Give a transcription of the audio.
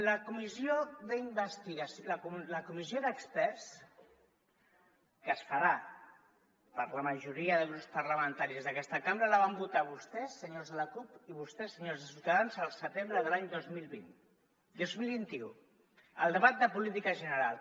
la comissió d’experts que es farà per la majoria de grups parlamentaris d’aques·ta cambra la van votar vostès senyors de la cup i vostès senyors de ciutadans al setembre de l’any dos mil vint u al debat de política general